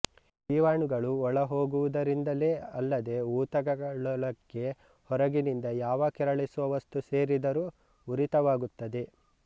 ಜೀವಾಣುಗಳು ಒಳಹೋಗುವುದರಿಂದಲೇ ಅಲ್ಲದೆ ಊತಕಗಳೊಳಕ್ಕೆ ಹೊರಗಿಂದ ಯಾವ ಕೆರಳಿಸುವ ವಸ್ತು ಸೇರಿದರೂ ಉರಿತವಾಗುತ್ತದೆ